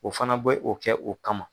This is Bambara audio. O fana bɛ o kɛ u kama.